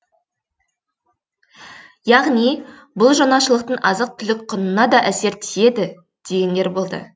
яғни бұл жаңашылдықтың азық түлік құнына да әсері тиеді дегендер болды